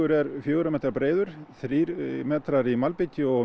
er fjögurra metra breiður þrír metrar í malbiki og